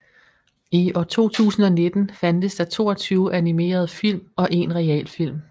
I år 2019 fandtes der 22 animerede film og en realfilm